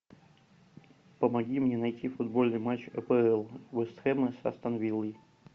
помоги мне найти футбольный матч апл вест хэма с астон виллой